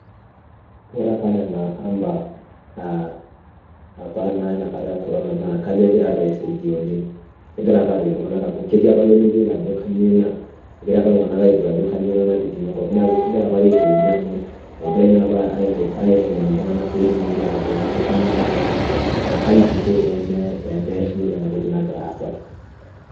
Wore apa niana amba apa naa iniakata ekorona naa kajo ekira apa aisaidia oleng'. Kekira apa aaret iltunganak amu ketii apa iltunganak lemeyiolo ajo kainyoo inia. Ekira apa iltunganak airut ajo kainyoo inia natijinga enkop. Neeku kekira apake aisaidia amu , ekirae naapa aitengen iltunganak peetumoki aatayiolo ajo kainyoo nakira aasa. Naa kai kinko pee mear iyiok enatoki nakira aasa.